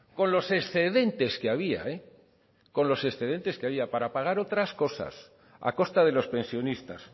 con los excedentes que había con los excedentes que había para pagar otras cosas a costa de los pensionistas